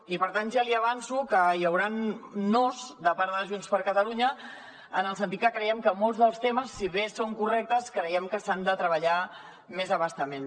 i per tant ja li avanço que hi hauran nos de part de junts per catalunya en el sentit que molts dels temes si bé són correctes creiem que s’han de treballar més a bastament